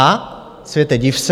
A světe, div se.